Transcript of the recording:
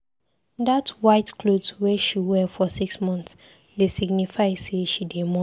Dat white clot wey she wear for six mont dey signify sey she dey mourn.